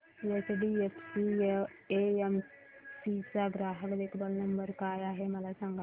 HDFC AMC चा ग्राहक देखभाल नंबर काय आहे मला सांग